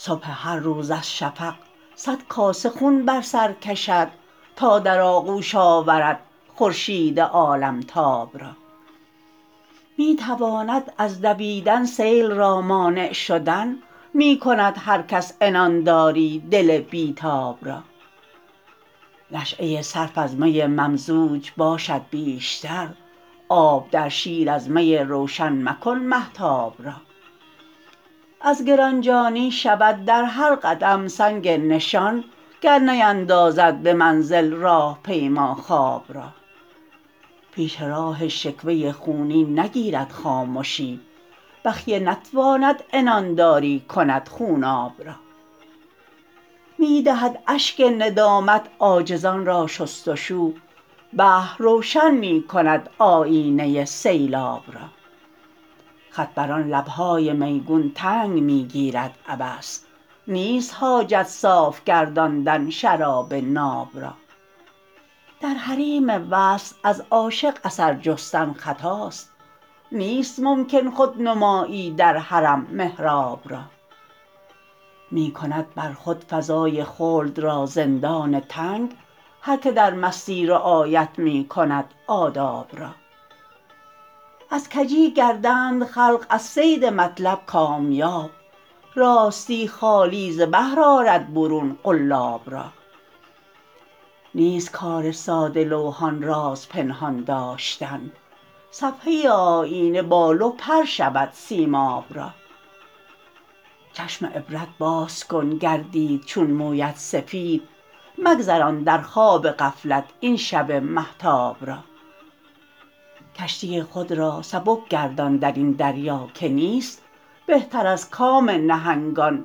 صبح هر روز از شفق صد کاسه خون بر سر کشد تا در آغوش آورد خورشید عالمتاب را می تواند از دویدن سیل را مانع شدن می کند هر کس عنان داری دل بی تاب را نشأه صرف از می ممزوج باشد بیشتر آب در شیر از می روشن مکن مهتاب را از گرانجانی شود در هر قدم سنگ نشان گر نیندازد به منزل راه پیما خواب را پیش راه شکوه خونین نگیرد خامشی بخیه نتواند عنان داری کند خوناب را می دهد اشک ندامت عاجزان را شستشو بحر روشن می کند آیینه سیلاب را خط بر آن لبهای میگون تنگ می گیرد عبث نیست حاجت صاف گرداندن شراب ناب را در حریم وصل از عاشق اثر جستن خطاست نیست ممکن خودنمایی در حرم محراب را می کند بر خود فضای خلد را زندان تنگ هر که در مستی رعایت می کند آداب را از کجی گردند خلق از صید مطلب کامیاب راستی خالی ز بحر آرد برون قلاب را نیست کار ساده لوحان راز پنهان داشتن صفحه آیینه بال و پر شود سیماب را چشم عبرت باز کن گردید چون مویت سفید مگذران در خواب غفلت این شب مهتاب را کشتی خود را سبک گردان درین دریا که نیست بهتر از کام نهنگان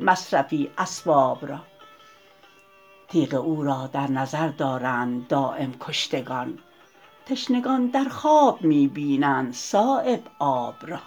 مصرفی اسباب را تیغ او را در نظر دارند دایم کشتگان تشنگان در خواب می بینند صایب آب را